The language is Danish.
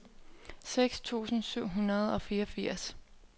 seks tusind syv hundrede og fireogfirs